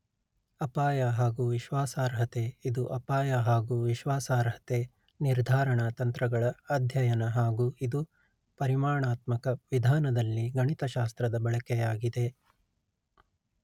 ಅಪಾಯ ಹಾಗು ವಿಶ್ವಾಸಾರ್ಹತೆ ಇದು ಅಪಾಯ ಹಾಗು ವಿಶ್ವಾಸಾರ್ಹತೆ ನಿರ್ಧಾರಣಾ ತಂತ್ರಗಳ ಅಧ್ಯಯನ ಹಾಗು ಇದು ಪರಿಮಾಣಾತ್ಮಕ ವಿಧಾನದಲ್ಲಿ ಗಣಿತಶಾಸ್ತ್ರದ ಬಳಕೆಯಾಗಿದೆ